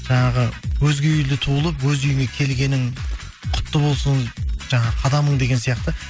жаңағы өзге үйде туылып өз үйіңе келгенің құтты болсын жаңағы қадамың деген сияқты